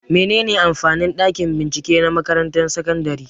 Mene ne amfanin ɗakin bincike na makarantar sakandare?